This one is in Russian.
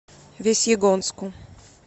весьегонску